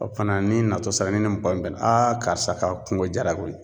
O fana n'i nato sera n'i ni mɔgɔ min bɛnna karisa ka kungo jara koyi.